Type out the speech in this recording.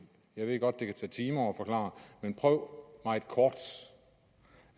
jeg ved godt at det kan tage timer at forklare men prøv meget kort